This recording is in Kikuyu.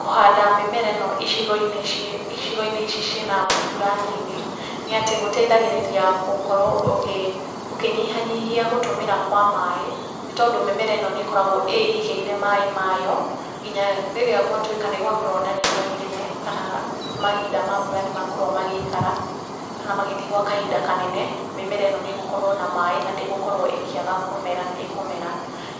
Kũhanda mĩmera ĩno icigo-inĩ ici ciĩna mbura nini, nĩ atĩ gũteithagĩrĩria gũkorwo ũkĩnyihanyihia gũtũmĩra kwa maaĩ, nĩ tondũ mĩmera ĩno nĩ ĩkoragwo ĩigĩire maaĩ mayo, nginya rĩrĩa gwatuĩka nĩ gwakorwo na riũa inene kana mahinda ma mbura nĩ makorwo magĩikara kana magĩthiĩ gwa kahinda kanene, mĩmera ĩno nĩ ĩgũkorwo na maaĩ na ndĩgũkorwo ĩkĩaga kũmera, nĩ ĩkũmera.